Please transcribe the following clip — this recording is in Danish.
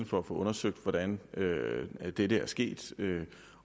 for at få undersøgt hvordan dette er sket